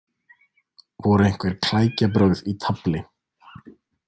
Voru einhver klækjabrögð í tafli?